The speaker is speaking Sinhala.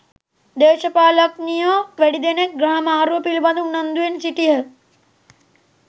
දේශපාලනඥයෝ වැඩිදෙනෙක්‌ ග්‍රහ මාරුව පිළිබඳ උනන්දුවෙන් සිටියහ.